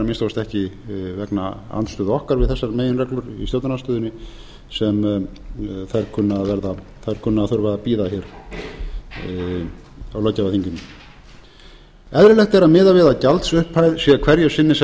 kosti ekki vegna andstöðu okkar við þessar meginreglur í stjórnarandstöðunni sem þær kunna að þurfa að þurfa að bíða hér á löggjafarþinginu eðlilegt er að miða við að gjaldsupphæð sé hverju sinni sem